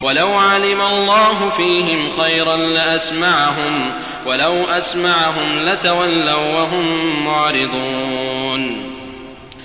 وَلَوْ عَلِمَ اللَّهُ فِيهِمْ خَيْرًا لَّأَسْمَعَهُمْ ۖ وَلَوْ أَسْمَعَهُمْ لَتَوَلَّوا وَّهُم مُّعْرِضُونَ